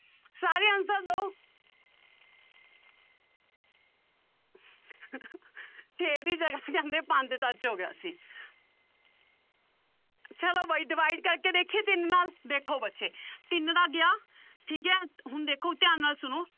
ਛੇ ਦੀ ਜਗ੍ਹਾ ਕਹਿੰਦੇ ਪੰਜ touch ਹੋ ਗਿਆ ਸੀ ਚਲੋ ਬਾਈ divide ਕਰਕੇ ਦੇਖੀਏ ਤਿੰਨ ਨਾਲ ਦੇਖੋ ਬੱਚੇ ਤਿੰਨ ਤਾਂ ਗਿਆ ਠੀਕ ਹੇ ਹੁਣ ਦੇਖੋ ਧਿਆਨ ਨਾਲ ਸੁਣੋ